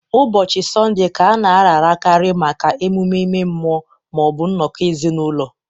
Ụbọchị Sọnde Ka a na-ararakarị maka emume ime mmụọ ma ọ bụ nnọkọ ezinụlọ